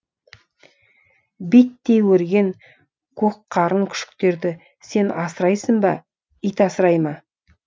биттей өрген көкқарын күшіктеріңді сен асырайсың ба ит асырай ма